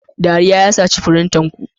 Dariya ya saci firinta ku.